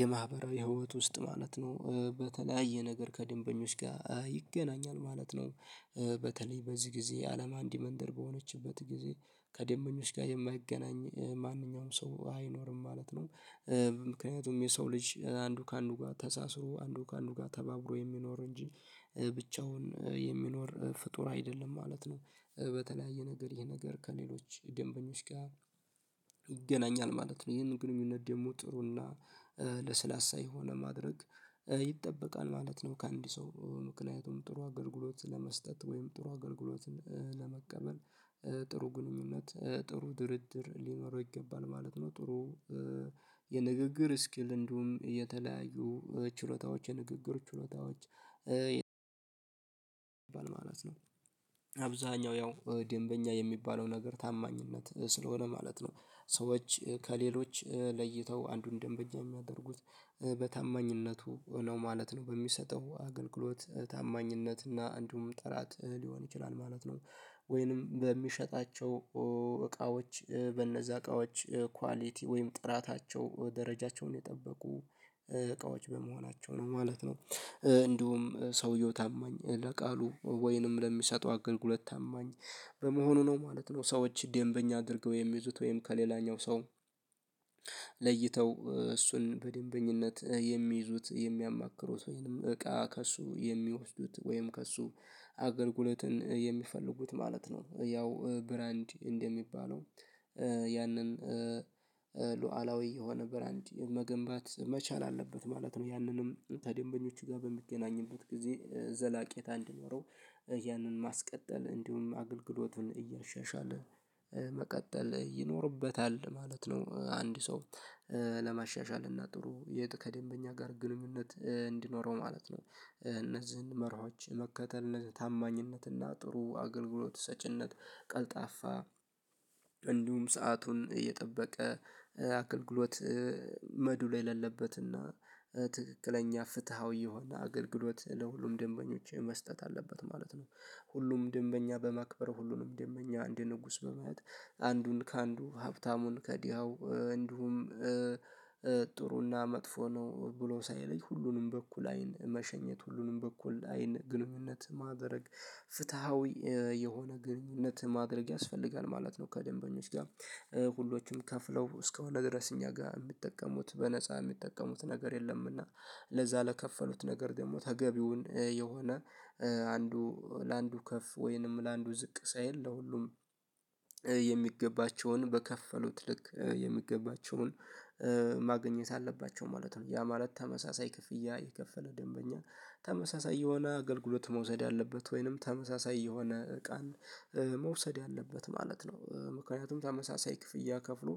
የማህበራዊ ህይወት ውስጥ ማለት ነው በተለያየ ነገር ከድንበኞች ጋር ይገናኛል ማለት ነው። በተለይ በዚህ ጊዜ አለም አንዲ መንደር በሆነችበት ጊዜ ከደንበኞች ጋር የማይገናኝ ማንኛውም ሰው አይኖርም ማለት ነው። ምክንያቱም የሰው ልጅ አንዱ ከአንዱ ጋር ተሳስሮ አንዱ ከአንዱ ጋር ተባብሮ የሚኖር እንጂ ብቻውን የሚኖር ፍጡር አይደለም ማለት ነው። በተለያየ ነገር ይሄ ነገር ከሌሎች ደንበኞች ጋር ይገናኛል ማለት ነው ይሄንን ግንኙነት ደግሞ ጥሩና ለስላሳ የሆነ ማድረግ ይጠበቃል ማለት ነው። ከአንድ ሰው ምክንያቱም ጥሩ አገልግሎት ለመስጠት ወይም ጥሩ አገልግሎትን ለመቀበል ጥሩ ግንኙነት ጥሩ ድርድር ሊኖረው ይገባል ማለት ነው። ጥሩ የንግግር ስኪል እንዲሁም የተለያዩ ችሎታዎች የንግግር ችሎታዎች ማለት ነው። አብዛኛው ያው ደንበኛ የሚባለው ነገር ታማኝነት ስለሆነ ማለት ነው። ሰዎች ከሌሎች ለይተው አንዱን ደንበኛ የሚያደርጉት በታማኝነቱ ነው ማለት ነው። በሚሰጠው አገልግሎት ታማኝነት እና እንዲሁም ጥራት ሊሆን ይችላል ማለት ነው። ወይንም በሚሸጣቸው እቃዎች በእነዛ እቃዎች ኳሊቲ ወይም ጥራታቸው ደረጃቸውን የጠበቁ እቃዎች በመሆናቸው ነው ማለት ነው። እንዲሁም ሰውየው ታማኝ ለቃሉ ወይንም ለሚሰጠው አገልግሎት ታማኝ በመሆኑ ነው ማለት ነው። ሰዎች ደንበኛ አድርገው የሚይዙት ወይም ከሌላኛው ሰው ለይተው እሱን በደንበኝነት የሚይዙት የሚያማክሩት ወይንም እቃ ከእሱ የሚወስዱት ወይም ከእሱ አገልግሎትን የሚፈልጉት ማለት ነው። ያው ብራንድ እንደሚባለው ያንን ሉዓላዊ የሆነ ብራንዲ መገንባት መቻል አለበት ማለት ነው። ያንንም ከደንበኞቹ ጋር በሚገናኝበት ጊዜ ዘለቄታ እንድኖረው ያንን ማስቀጠል እንዲሁም አገልግሎቱን እያሻሻለ መቀጠል ይኖርበታል ማለት ነው። አንድ ሰው ለማሻሻል እና ጥሩ ቀጥታ ከደንበኛ ጋር ግንኙነት እንዲኖረው ማለት ነው። እነዚህን መርሆች መከተል ታማኝነት እና ጥሩ አገልግሎት ሰጪነት ቀልጣፋ እንዲሁም ሰአቱን እየጠበቀ አገልግሎት መዱ ላይ ላለበትና ትክክለኛ ፍትሃዊ የሆነ አገልግሎት ለሁሉም ደንበኞች መስጠት አለበት ማለት ነው። ሁሉንም ደንበኛ በማክበር ሁሉንም ደንበኛ አንደ ንጉስ በማየት አንዱን ከአንዱ ሀብታሙን ከዲሃው እንዲሁም ጥሩና መጥፎ ነው ብሎ ሳይለይ ሁሉንም በኩል አይን መሸኘት ሁሉንም በኩል አይን ግንኙነት ማድረግ ፍትሃዊ የሆነ ግንኙነት ማድረግ ያስፈልጋል ማለት ነው። ከደንበኞች ጋር ሁሎችም ከፍለው እስከሆነ ድረስ እኛ ጋር የሚጠቀሙት በነፃ የሚጠቀሙት ነገር የለምና ለዛ ለከፈሉት ነገር ደግሞ ተገቢውን የሆነ አንዱ ለአንዱ ከፍ ወይንም ለአንዱ ዝቅ ሳይል ለሁሉም የሚገባቸውን በከፈሉት ልክ የሚገባቸውን ማግኘት አለባቸው ማለት ነው። ያ ማለት ተመሳሳይ ክፍያ የከፈለ ደንበኛ ተመሳሳይ የሆነ አገልግሎት መውሰድ አለበት ወይንም ተመሳሳይ የሆነ ቀን መውሰድ አለበት ማለት ነው። ምክንያቱም ተመሳሳይ ክፍያ ከፍሎ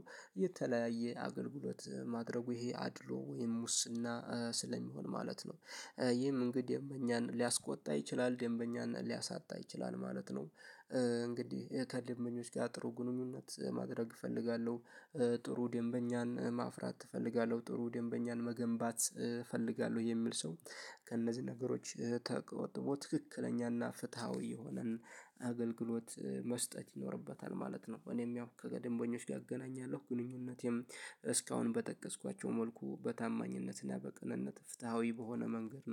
የተለያየ አገልግሎት ማድረጉ ይሄ አድሎ ወይም ሙስና ስለሚሆን ማለት ነው። ይህም እንግዲህ እኛን ሊያስቆጣ ይችላል ደንበኛን ሊያሳጣ ይችላል ማለት ነው። እንግዲህ ከደንበኞች ጋር ጥሩ ግንኙነት ማድረግ እፈልጋለሁ ጥሩ ደንበኛን ማፍራት እፈልጋለሁ ጥሩ ደንበኛን መገንባት እፈልጋለሁ የሚል ሰው ከእነዚህ ነገሮች ተቆጥቦ ትክክለኛና ፍትሃዊ የሆነን አገልግሎት መስጠት ይኖርበታል ማለት ነው። እኔም ያው ከደንበኞች ጋር እገናኛለሁ ግንኙነቴም እስካሁን በጠቀስኳቸው መልኩ በታማኝነትና በቅንነት ፍትሃዊ በሆነ መንገድ